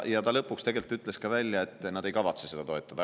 Ja ta lõpuks tegelikult ütles ka välja, et nad ei kavatse seda toetada.